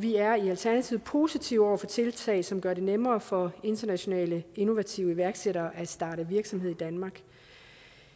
vi er i alternativet positive over for tiltag som gør det nemmere for internationale innovative iværksættere at starte virksomhed i danmark